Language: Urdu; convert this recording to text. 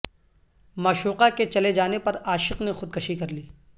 معشوقہ کے چلے جانے پر عاشق نے خودکشی کرلی